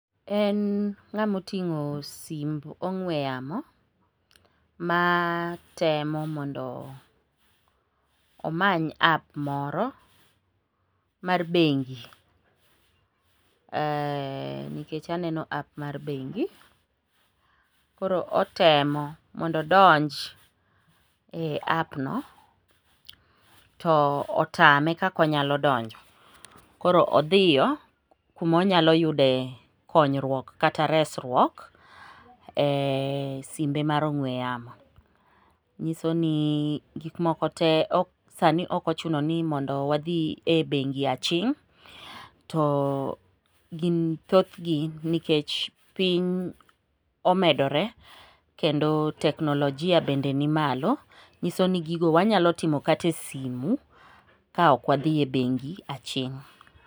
En ng'amo ting'o simb ong'we yamo ma temo mondo omany app moro mar bengi, nikech aneno app mar bengi, koro otemo mondo odonj e app no to otame kaka onyalo donjo. Koro odhiyo kuma onyalo yude konyruok kata resruok e simbe mar ong'we yamo. Nyiso ni gikmoko te sani ok ochuno ni mondo wadhi e bengi aching',to thothgi nikech piny omedore kendo teknolojia bende nimalo, nyiso ni gigo wanyalo timo kata e simu ka ok wadhi e bengi aching'.